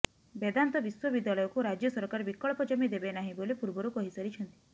ବେଦାନ୍ତ ବିଶ୍ୱବିଦ୍ୟାଳୟକୁ ରାଜ୍ୟ ସରକାର ବିକଳ୍ପ ଜମି ଦେବେନାହିଁ ବୋଲି ପୂର୍ବରୁ କହି ସାରିଛନ୍ତି